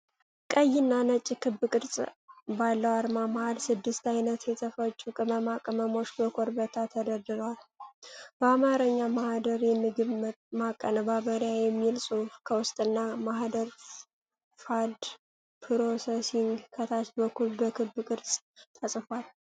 ቀይና ነጭ ክብ ቅርጽ ባለው አርማ መሃል፣ ስድስት ዓይነት የተፈጩ ቅመማ ቅመሞች በኮረብታ ተደርድረዋል። በአማርኛ "ማኅደር የምግብ ማቀነባበሪያ" የሚለው ጽሑፍ ከውስጥና "ማህደር ፉድ ፕሮሰሲንግ" ከታች በኩል በክብ ቅርጽ ተጽፏል።